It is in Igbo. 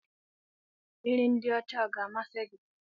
Nri ndị ọcha ọ ga-amasị gị?